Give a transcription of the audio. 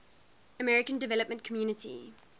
african development community